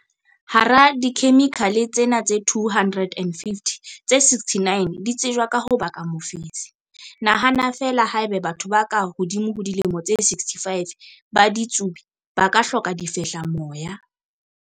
Hara dikhemikhale tsena tse 250, tse 69 di tsejwa ka ho baka mofetshe. Nahana feela haeba batho ba ka hodimo ho dilemo tse 65 ba ditsubi, ba ka hloka difehlamoya.